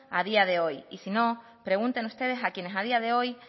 a día de hoy y si no pregunten ustedes a quienes a día de hoy